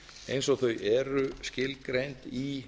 eins og þau eru skilgreind í